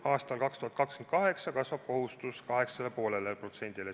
Aastal 2028 kasvab kohustus 8,5%-le.